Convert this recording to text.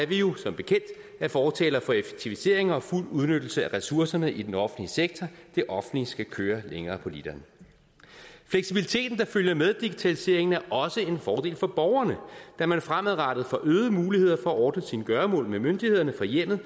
vi jo som bekendt er fortalere for effektiviseringer og fuld udnyttelse af ressourcerne i den offentlige sektor det offentlige skal køre længere på literen fleksibiliteten der følger med digitaliseringen er også en fordel for borgerne da man fremadrettet får øgede muligheder for at ordne sine gøremål med myndighederne fra hjemmet